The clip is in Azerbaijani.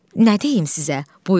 Nə deyim sizə?